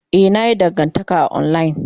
Ee, na yi dangantaka a online.